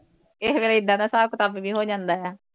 ਕਿਸੇ ਵੇਲੇ ਏਦਾਂ ਦਾ ਹਿਸਾਬ ਕਿਤਾਬ ਹੋ ਜਾਂਦਾ ਹੈ।